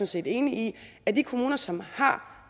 set enig i at de kommuner som har